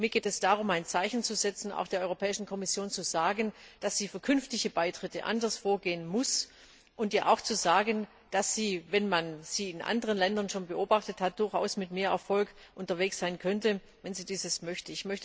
Mir geht es darum, ein Zeichen zu setzen, der Europäischen Kommission zu sagen, dass sie bei künftigen Beitritten anders vorgehen muss, und ihr auch zu sagen, dass sie, wenn man sie in anderen Ländern schon beobachtet hat, durchaus mit mehr Erfolg unterwegs sein könnte, wenn sie dies möchte.